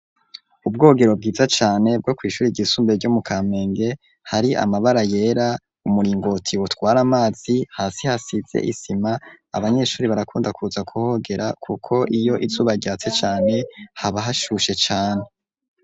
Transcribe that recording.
Ubwogero bwiza cane bwo kw’ishure ryisumbe ryo mu kampenge hari amabara yera umuringoti utwara amazi hasi hasize isima abanyeshure barakunda kuza kuhogera kuko iyo izuba ryatse cane haba hashushe cane.